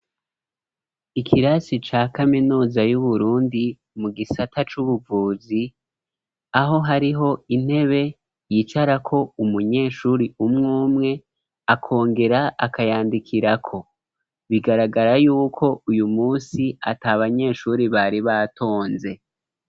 Ikirasi ca kaminuza y'uburundi mu gisata c'ubuvuzi aho hariho intebe yicara ko umunyeshuri umwumwe akongera akayandikirako bigaragara, yuko uyu munsi ati abanyeshuri bari batonze.